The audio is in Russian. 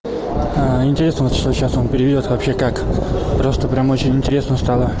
интересно что сейчас он переведёт вообще как просто прям очень интересно стало